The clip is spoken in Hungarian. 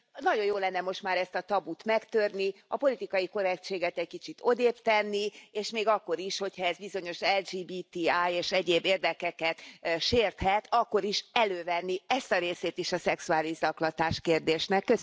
Nagyon jó lenne most már ezt a tabut megtörni, a politikai korrektséget egy kicsit odébb tenni, és még akkor is, hogyha ez bizonyos LMBTI és egyéb érdekeket sérthet akkor is elővenni ezt a részét is a szexuális zaklatás kérdésének.